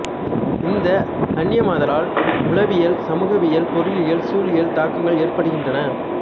இந்த அன்னியமாதலால் உளவியல் சமூகவியல் பொருளியல் சூழலியல் தாக்கங்கள் ஏற்படுகின்றன